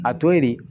A to ye de